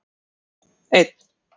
einn